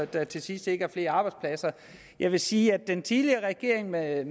der til sidst ikke er flere arbejdspladser jeg vil sige at den tidligere regering med